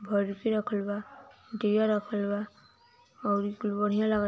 बर्फ़ी रखल बा दिया रखल बा औरी कुल बढ़िया लाग --